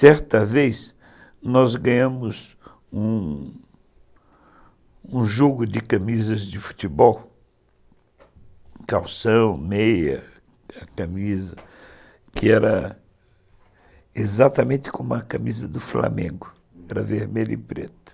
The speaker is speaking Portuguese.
Certa vez, nós ganhamos um jogo de camisas de futebol, calção, meia, camisa, que era exatamente como a camisa do Flamengo, era vermelho e preto.